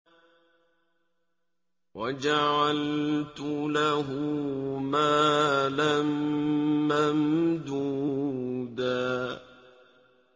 وَجَعَلْتُ لَهُ مَالًا مَّمْدُودًا